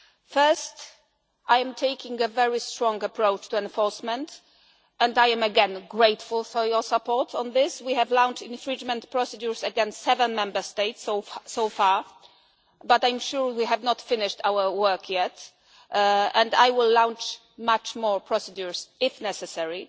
this. Firstly, I am taking a very strong approach to enforcement and I am again grateful for your support on this. We have launched infringement procedures against seven Member States so far, but I am sure we have not finished our work yet and I will launch many more procedures if necessary.